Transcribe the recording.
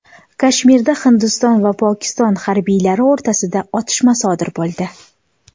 Kashmirda Hindiston va Pokiston harbiylari o‘rtasida otishma sodir bo‘ldi.